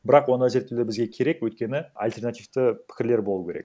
бірақ ондай зерттеулер бізге керек өйткені альтернативті пікірлер болуы керек